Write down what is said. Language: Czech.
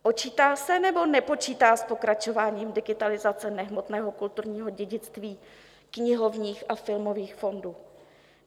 Počítá se, nebo nepočítá s pokračováním digitalizace nehmotného kulturního dědictví knihovních a filmových fondů?